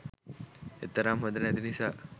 එතරම් හොඳ නැති නිසා